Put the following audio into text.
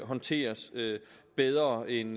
håndteres bedre end